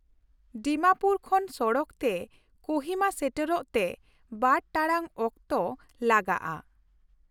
ᱰᱤᱢᱟᱯᱩᱨ ᱠᱷᱚᱱ ᱥᱚᱲᱚᱠ ᱛᱮ ᱠᱳᱦᱤᱢᱟ ᱥᱮᱴᱮᱨᱚᱜ ᱛᱮ ᱵᱟᱨ ᱴᱟᱲᱟᱝ ᱚᱠᱛᱚ ᱞᱟᱜᱟᱜᱼᱟ ᱾